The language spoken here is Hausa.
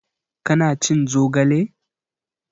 Ka na cin zogale?